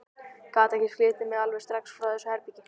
Ég gat ekki slitið mig alveg strax frá þessu herbergi.